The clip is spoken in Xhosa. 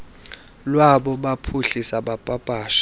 lwabo baphuhlise bapapashe